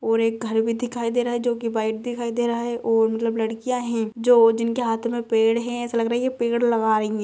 और एक घर भी दिखाई दे रहा है जोकि व्हाइट दिखाई दे रहा हैऔर मतलब लड़कियां हैं जो जिनके हाथों में पेड़ है ऐसा लग रहा है ये पेड़ लगा रही हैं।